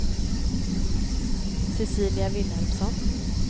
Cecilia Vilhelmsson